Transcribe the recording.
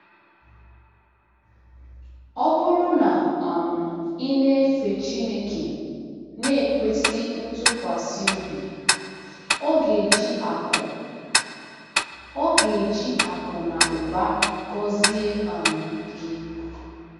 Ọ BỤRỤ na um ị na-efe Chineke n’ikwesị ntụkwasị obi, ọ̀ ga-eji akụ̀ ọ̀ ga-eji akụ̀ na ụba gọzie um gị?